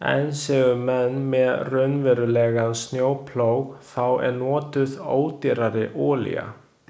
En séu menn með raunverulegan snjóplóg þá er notuð ódýrari olía.